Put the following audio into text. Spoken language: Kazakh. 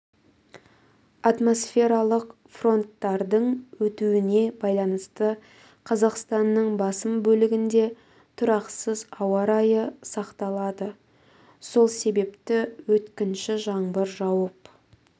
атмосфералық фронттардың өтуіне байланысты қазақстанның басым бөлігінде тұрақсыз ауа райы сақталады сол себепті өткінші жаңбыр жауып